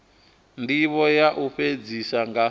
ndivho ya u fhedzisa nga